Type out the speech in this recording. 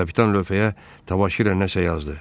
Kapitan lövhəyə tavaşı ilə nəsə yazdı.